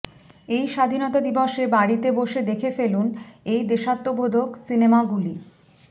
এই স্বাধীনতা দিবসে বাড়িতে বসে দেখে ফেলুন এই দেশাত্মবোধক সিনেমাগুলি